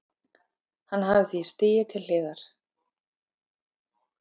Hann hafi því stigið til hliðar